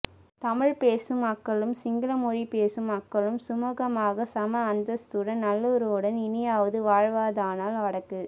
தமிழ்ப் பேசும் மக்களும் சிங்கள மொழி பேசும் மக்களும் சுமூகமாக சம அந்தஸ்துடன் நல்லுறவுடன் இனியாவது வாழ்வதானால் வடக்கு